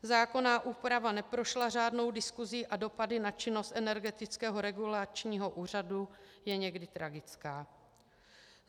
Zákonná úprava neprošla řádnou diskusí a dopady na činnost Energetického regulačního úřadu jsou někdy tragické.